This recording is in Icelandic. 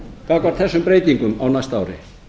gagnvart þessum breytingum á næsta ári